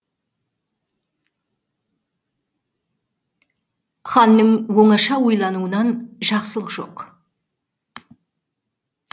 ханның оңаша ойлануынан жақсылық жоқ